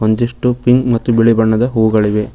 ಒಂದಿಷ್ಟು ಪಿಂಕ್ ಮತ್ತು ಬಿಳಿ ಬಣ್ಣದ ಹೂಗಳಿವೆ.